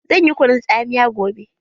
Zan yi kunun tsamiya gobe.